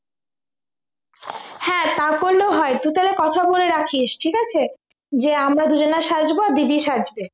হ্যাঁ তা করলেও হয় তুই তাহলে কথা বলে রাখিস ঠিক আছে যে আমরা দুজনা সাজব দিদি সাজবে